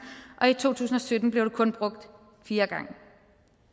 og i to tusind og sytten blev det kun brugt fire gange